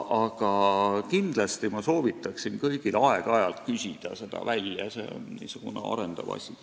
Aga kindlasti ma soovitan kõigil aeg-ajalt neid väljavõtteid küsida, see on väga arendav asi.